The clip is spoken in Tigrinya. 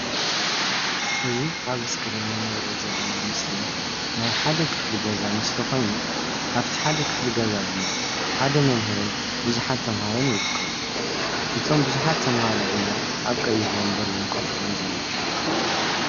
እዚ ኣብ እስክሪን እንሪኦ ዘለና ምስሊ ናይ ሓደ ክፍሊ ገዛ ምስሊ ኮይኑ ኣብቲ ሓደ ክፍሊ ገዛ ድማ ሓደ መምህርን ብዙሓት ተምሃሮን ይርከቡ:: እቶም ብዙሓት ተምሃሮ ድማ ኣብ ቀይሕ ወንበር እዮም ኮፍ ኢሎም ዘለው፡፡